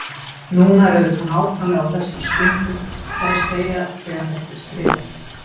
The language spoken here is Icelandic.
Núna er auðvitað nákvæmlega á þessari stundu, það er að segja þegar þetta er skrifað.